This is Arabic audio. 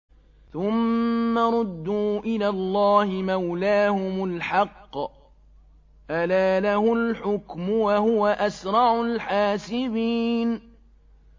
ثُمَّ رُدُّوا إِلَى اللَّهِ مَوْلَاهُمُ الْحَقِّ ۚ أَلَا لَهُ الْحُكْمُ وَهُوَ أَسْرَعُ الْحَاسِبِينَ